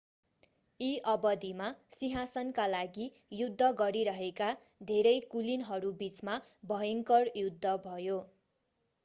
यी अवधिमा सिंहासनका लागि युद्ध गरिरहेका धेरै कुलीनहरूबीचमा भयङ्कर युद्ध भयो